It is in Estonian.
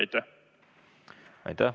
Aitäh!